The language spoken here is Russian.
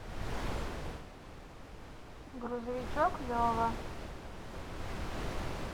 грузовичок лева